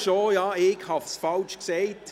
Ich habe es falsch gesagt.